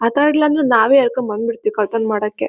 ಮಾತಾಡಲಿಲ್ಲಾಅಂದ್ರೆ ನಾವೇ ಎಳಕೊಂಡ್ ಬಂದ್ ಬಿಡ್ ತ್ತೀವಿ ಕಳ್ಳತನ ಮಾಡಕ್ಕೆ .